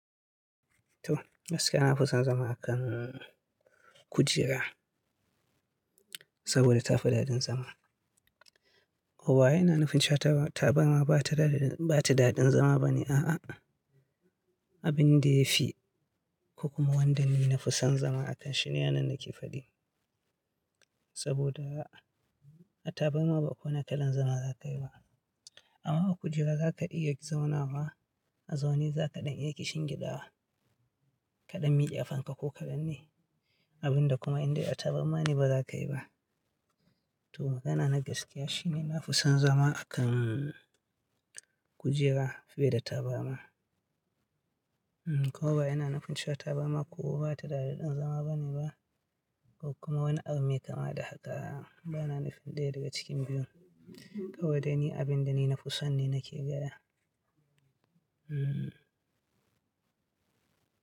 To, gaskiya na fi son zama a kan kujera, saboda tafi daɗin zama. Kowa yana nufin cewa tabarma bata da daɗin zama bane. A'a, abin da ya fi, ko kuma wanda ni na fi son zama akanshi ne ana na ke faɗi. Saboda, a tabarma ba kowane kalan zama zaka yi ba. Amma a kujera zaka iya zaunawa a zaune, zakaɗan iya kishingiɗa, kaɗan mike kafan ka ko kaɗan ne. Abin da kuma inde a tabarma ne baza ka yi ba. To magana na gaskiya shine na fi son zama a kan kujera fiye da taburma. Kowa yana nufin cewa tabarma ko bata daɗin zama bane ba ko kuma wani abu mai kama da haka. Bana nufin ɗaya daga cikin biyu. Kawai da ni abin da ni na fi son ne nake gaya.